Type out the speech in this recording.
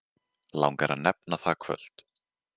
Langar að nefna það kvöld.